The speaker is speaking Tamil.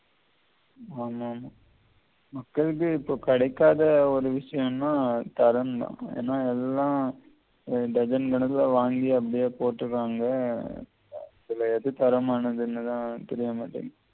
ஆமாமா மக்களுக்கு இப்ப கிடைக்காத ஒரு விஷயம்னா தரம் தான் ஏன்னா எல்லாம் டஜன் மடங்கில வாங்கி அப்படியே போட்டுடாங்க அதுல எது தரமானது என்னதான் தெரியமாட்டேங்குது